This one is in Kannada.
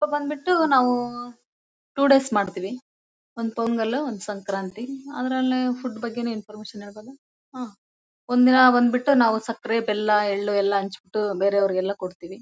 ಬಂದ್ಬಿಟ್ಟು ನಾವು ಟೂ ಡೇಸ್ ಮಾಡ್ತೀವಿ ಒಂದು ಪೊಂಗಲು ಒಂದ್ ಸಂಕ್ರಾಂತಿ ಅದ್ರಲ್ಲೇ ಫುಡ್ ಬಗ್ಗೆ ಇನ್ಫಾರ್ಮಶನ್ ಇರೋದ್ ಅಲ್ವ ಹ್ವಾ ಒಂದಿನ ಬಂದ್ಬಿಟ್ಟು ಸಕ್ಕರೆ ಬೆಲ್ಲ ಎಳ್ಳು ಎಲ್ಲ ಹಂಚ್ಬಿಟ್ಟುಬೇರೆಯವರಿಗೆಲ್ಲ ಕೊಡ್ತೀವಿ.